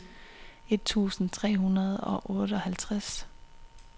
et tusind tre hundrede og otteoghalvtreds